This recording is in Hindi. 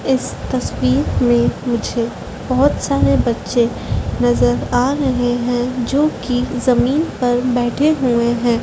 इस तस्वीर में मुझे बहोत सारे बच्चे नजर आ रहे हैं जो की जमीन पर बैठे हुए हैं।